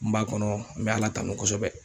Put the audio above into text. N b'a kɔnɔ, n bɛ ala tanu kosɛbɛ.